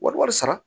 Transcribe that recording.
Wari wari sara